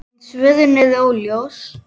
En svörin eru óljós.